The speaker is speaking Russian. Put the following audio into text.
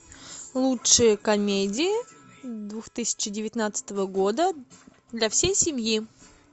лучшие комедии две тысячи девятнадцатого года для всей семьи